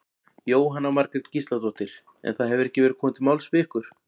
Jóhanna Margrét Gísladóttir: En það hefur ekki verið komið til máls við ykkur?